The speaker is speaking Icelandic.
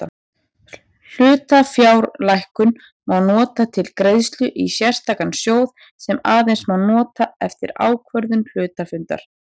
Hlutafjárlækkun má nota til greiðslu í sérstakan sjóð sem aðeins má nota eftir ákvörðun hluthafafundar.